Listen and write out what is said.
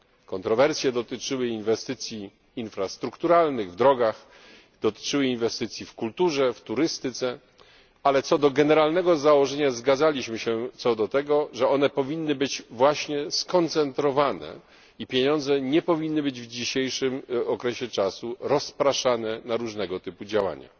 Kontrowersje dotyczyły inwestycji infrastrukturalnych w drogach, dotyczyły inwestycji w kulturze, w turystyce, ale co do generalnego założenia zgadzaliśmy się co do tego, że one powinny być właśnie skoncentrowane i pieniądze nie powinny być w dzisiejszym okresie rozpraszane na różnego typu działania.